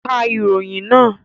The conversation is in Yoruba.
Ka ìròyìn naa!